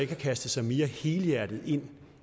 kastet sig mere helhjertet ind